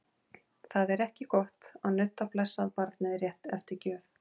Það er ekki gott að nudda blessað barnið rétt eftir gjöf.